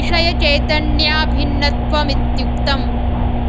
विषयचैतन्याभिन्नत्वमित्युक्तम्